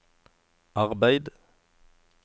arbeid